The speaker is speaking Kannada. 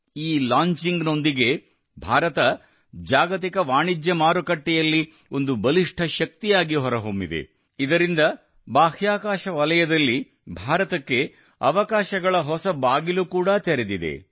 ಈ ಲಾಂಚಿಂಗ್ ನೊಂದಿಗೆ ಭಾರತ ಜಾಗತಿಕ ವಾಣಿಜ್ಯ ಮಾರುಕಟ್ಟೆಯಲ್ಲಿ ಒಂದು ಬಲಿಷ್ಠ ಶಕ್ತಿಯಾಗಿ ಹೊರಹೊಮ್ಮಿದೆ ಇದರಿಂದ ಬಾಹ್ಯಾಕಾಶ ವಲಯದಲ್ಲಿ ಭಾರತಕ್ಕೆ ಅವಕಾಶಗಳ ಹೊಸ ಬಾಗಿಲು ಕೂಡಾ ತೆರೆದಿದೆ